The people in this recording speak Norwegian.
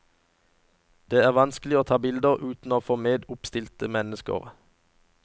Det var vanskelig å ta bilder uten å få med oppstilte mennesker.